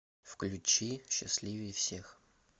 включи счастливее всех